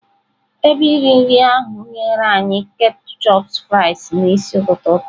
Ebe iri nri ahụ nyere anyị ketchup fries n'isi ụtụtụ taa.